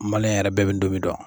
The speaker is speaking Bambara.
yɛrɛ bɛɛ bi donmi dɔn